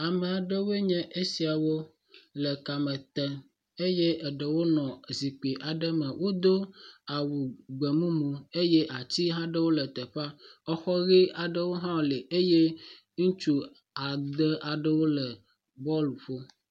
Ame aɖewo nye esiawo le kame tem eye eɖewo nɔ zikpui aɖe me. Wodo awu gbemumu eye ati hã aɖewo ele teƒea exɔ ʋi aɖe li eye ŋutsu ade aɖewo le bɔlu ƒom.